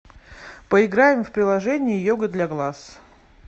поиграем в приложение йога для глаз